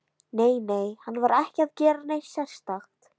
Nei, nei, hann var ekki að gera neitt sérstakt.